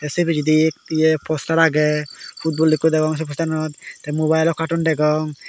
sei pijedi ye ye poster agey football ikko degong sei posteranot tey mobailo katton degong.